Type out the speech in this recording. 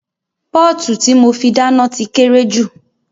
Pọ́ọ̀tù tí mo fi dáná ti kéré jù